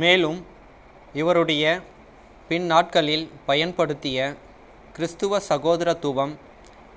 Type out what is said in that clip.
மேலும் இவருடைய பின்னாட்களில் பயன்படுத்திய கிறித்துவ சகோதரத்துவம்